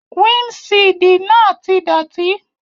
Windṣiidi naa ti dọti.